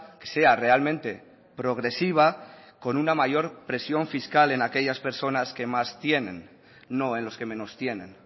que sea realmente progresiva con una mayor presión fiscal en aquellas personas que más tienen no en los que menos tienen